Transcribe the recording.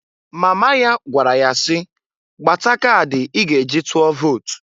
Mama ya gwara ya si, "Gbata kadị i ga eji tụọ vot!"